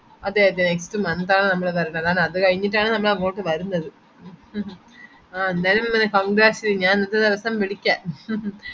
അതെ അതെ next month ആണ് നമ്മള് വരുന്നത് അത്കഴിഞ്ഞിട്ടാണ് നമ്മളെങ്ങോട്ട് വരുന്നത് ഏന്തയാലിം congrats ഞാൻ ഒരുദിവസം വിളിക്കാം